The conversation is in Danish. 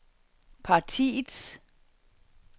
partiets